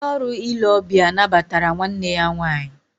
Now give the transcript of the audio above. Ndị ọrụ ile ọbịa nabatara nwanne ya nwaanyị